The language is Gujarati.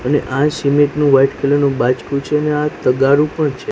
અને આ નુ વ્હાઇટ કલર નુ બાજકુ છે અને આ તગારુ પણ છે.